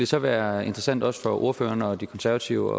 så være interessant også for ordføreren og de konservative